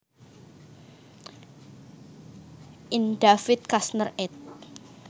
In David Kushner Ed